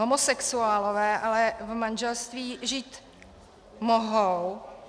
Homosexuálové ale v manželství žít mohou.